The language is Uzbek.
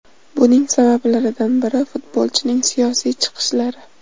Buning sabablaridan biri futbolchining siyosiy chiqishlari.